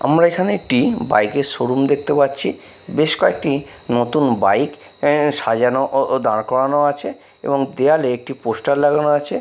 আমরা এখানে একটি বাইক -এর শোরুম দেখতে পাচ্ছি বেশ কয়েকটি নতুন বাইক এ সাজানো ও ও দাঁড় করানো আছে এবং দেওয়ালে একটি পোস্টার লাগানো আছে।